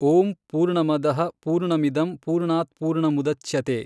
ಓಂ ಪೂರ್ಣಮದಃ ಪೂರ್ಣಮಿದಂ ಪೂರ್ಣಾತ್ಪೂರ್ಣಮುದಚ್ಯತೇ।